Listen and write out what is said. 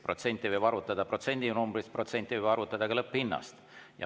Protsenti võib arvutada protsendinumbrist ja protsenti võib arvutada ka lõpphinnast.